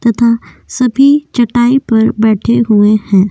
तथा सभी चटाई पर बैठे हुए हैं।